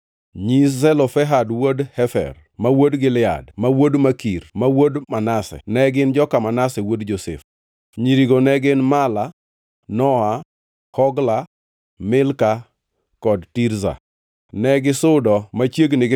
Nyi Zelofehad wuod Hefer, ma wuod Gilead, ma wuod Makir, ma wuod Manase, ne gin joka Manase wuod Josef. Nyirigo ne gin Mala, Nowa, Hogla, Milka kod Tirza. Negisudo machiegni gi